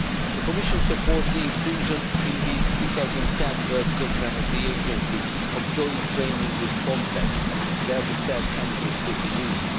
The Commission supports the inclusion in the 2010 work programme of the agency of joint training with FRONTEX, where the said handbook could be used.